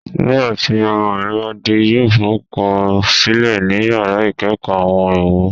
Nigbati ọmọ mi ba de, yoo forukọsilẹ ni yara ikeekoo Awon èwo